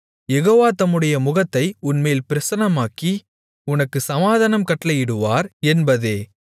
யெகோவா தம்முடைய முகத்தை உன்மேல் பிரசன்னமாக்கி உனக்குச் சமாதானம் கட்டளையிடுவார் என்பதே